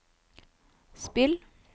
spill